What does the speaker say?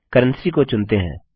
currency को चुनते हैं